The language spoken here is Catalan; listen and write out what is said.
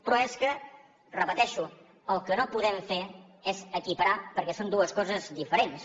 però és que ho repeteixo el que no podem fer és equiparar ho perquè són dues coses diferents